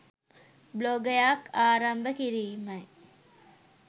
බ්ලොගයක් ආරම්භ කිරීමයි.